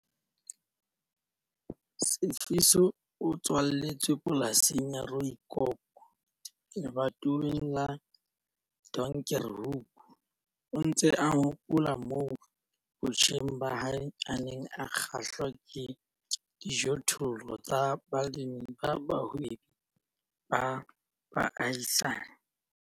Sifiso o tswaletswe polasing ya Rooikop lebatoweng la Donkerhoek. O ntse a hopola ka moo botjheng ba hae a neng a kgahlwa ke dijothollo tsa balemi ba bahwebi ba baahisani.